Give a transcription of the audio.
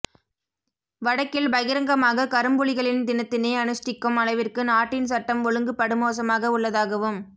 வடக்கில் பகிரங்கமாக கரும்புலிகளின் தினத்தினை அனுஷ்டிக்கும் அளவிற்கு நாட்டின் சட்டம் ஒழுங்கு படுமோசமாக உள்ளதாகவும்